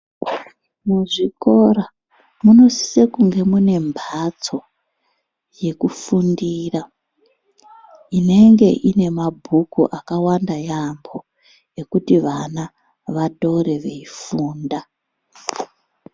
Muzvikora munosise kunge mune mbatso yekufundira inenge ine mabhuku akawanda yaambo ekuti vana vatore veifunda.